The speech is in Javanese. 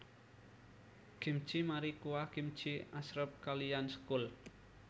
Kimchi mari kuah kimchi asrep kaliyan sekul